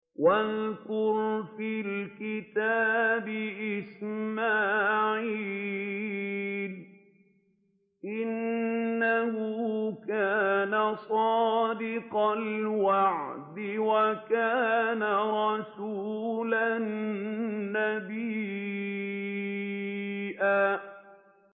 وَاذْكُرْ فِي الْكِتَابِ إِسْمَاعِيلَ ۚ إِنَّهُ كَانَ صَادِقَ الْوَعْدِ وَكَانَ رَسُولًا نَّبِيًّا